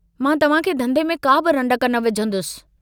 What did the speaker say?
मां तव्हांखे धन्धे में काबि रंडक न विझंदुसि।